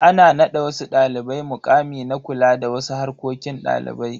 Ana nada wasu dalibai mukami na kula da wasu harkokin dalibai.